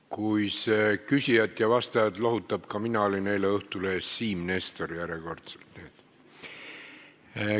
Kui see küsijat ja vastajat lohutab, siis ütlen, et ka mina olin eile Õhtulehes Siim Nestor, järjekordselt, nii et ...